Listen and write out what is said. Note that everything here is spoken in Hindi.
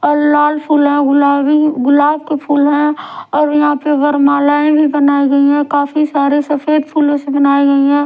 और लाल फुल है गुलाबी गुलाब के फूल है और यहां पे वरमालाये भी बनाई गई है काफी सारे सफेद फूलों से बनाई गई है।